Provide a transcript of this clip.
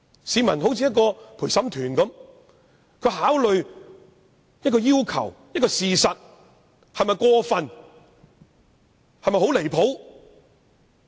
市民恍如陪審團，會考慮要求是否過分或離譜。